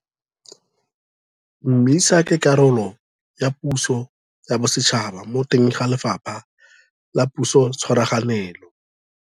MISA ke karolo ya puso ya bosetšhaba mo teng ga Lefapha la Pusotshwaraganelo.